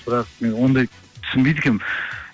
бірақ мен ондайды түсінбейді екенмін